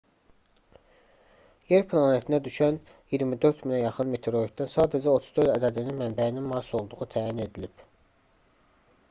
yer planetinə düşən 24000-ə yaxın meteoritdən sadəcə 34 ədədinin mənbəyinin mars olduğu təyin edilib